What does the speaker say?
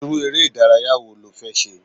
Irú ere ìdárayá wo lo fẹ́ ṣe?